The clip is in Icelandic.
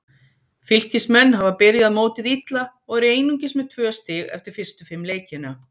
Fylkismenn hafa byrjað mótið illa og eru einungis með tvö stig eftir fyrstu fimm leikina.